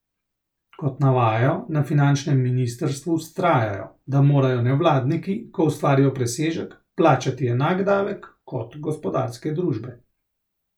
Kot navajajo, na finančnem ministrstvu vztrajajo, da morajo nevladniki, ko ustvarijo presežek, plačati enak davek kot gospodarske družbe.